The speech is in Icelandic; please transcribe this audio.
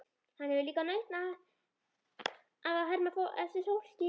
Hann hefur líka nautn af að herma eftir fólki.